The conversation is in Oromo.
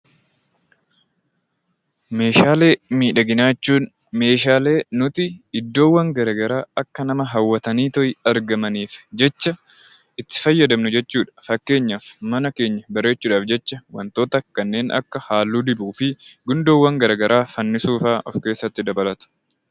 Meeshaalee miidhaginaa jechuun Meeshaalee nuti iddoowwan miidhaginaa garaagaraa akka nama hawwatanii argamaniif jecha itti fayyadamnu jechuudha. Fakkeenyaaf mana keenya sirreessuuf halluu dibuu fi gundoowwan garaagaraa fannisuu fa'aa of keessatti dabalata.